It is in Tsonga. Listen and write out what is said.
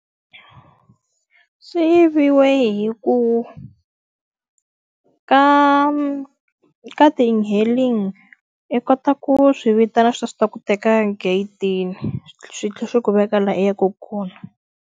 Swi yiviwe hikuva ka ka ti-e-hailing i kota ku swi vitana swi ta swi ta ku teka egedeni, swi tlhela swi ku veka laha u yaka kona.